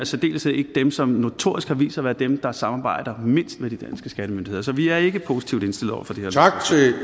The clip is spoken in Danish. særdeleshed ikke dem som notorisk har vist sig at være dem der samarbejder mindst med de danske skattemyndigheder så vi er ikke positivt